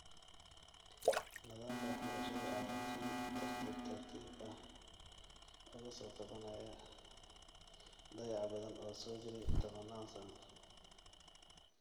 Nadaamka waxbarashada ayaa si tartiibtartiib ah uga sookabanaya dayacbadan oo soo jiray tobanaan sano.